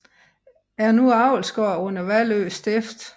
Er nu avlsgård under Vallø Stift